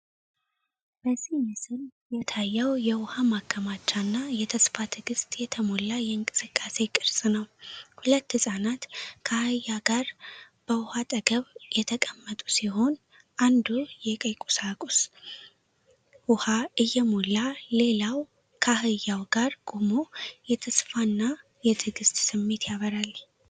በዚህ ምስል የታየው የውሃ ማከማቻ እና የተስፋ ትግስት የተሞላ የእንቅስቃሴ ቅርጽ ነው። ሁለት ህፃናት ከአህያ ጋር በውሃ አጠገብ የተቀመጡ ሲሆን፣ አንዱ የቀይ ቁሳቁስ ውሃ እየሞላ ሌላው ከአህያው ጋር ቆሞ የተስፋን እና የትዕግስት ስሜት ያበራል።